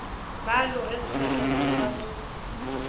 ba aloge sebakeng sa go